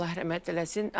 Allah rəhmət eləsin.